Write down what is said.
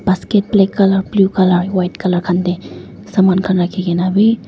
basket black colour blue white khan de sama khan rakhe kena beh.